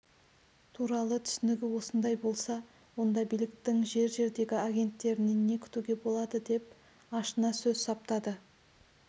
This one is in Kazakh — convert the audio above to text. туралы түсінігі осындай болса онда биліктің жер-жердегі агенттерінен не күтуге болады деп ашына сөз саптады